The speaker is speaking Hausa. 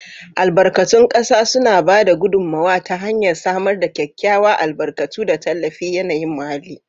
Albarkatun ƙasa suna ba da gudummawa ta hanyar samar da kyakkyawa, albarkatu, da tallafin yanayin muhalli.